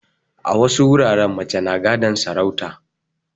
A wasu wuraren mace na gadon sarauta